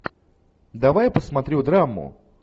давай я посмотрю драму